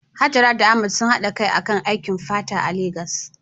Hajara da Ahmad sun haɗa kai akan aikin fata a Legas.